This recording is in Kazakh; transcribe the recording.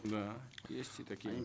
да есть и такие